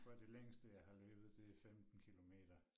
Tror det længste jeg har løbet det 15 kilometer